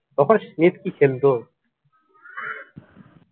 তখন স্মিথ কী খেলত!